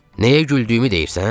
Nəyə güldüyümü deyirsən?